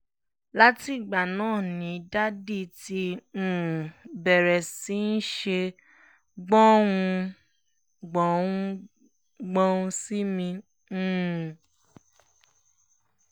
látìgbà náà ni daddy ti um béèrè sí í ṣe gbùn-ún-gbùn-ùn-gbún sí mi um